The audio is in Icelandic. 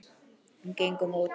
Og gengum út.